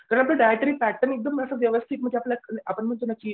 कारण आपण dietary pattern एकदम असं व्यवस्थित आपण म्हणतो ना की